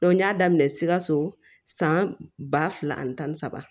n y'a daminɛ sikaso san ba fila ani tan ni saba